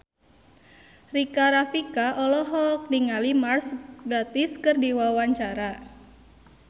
Rika Rafika olohok ningali Mark Gatiss keur diwawancara